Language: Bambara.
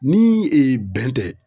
Ni ee bɛn tɛ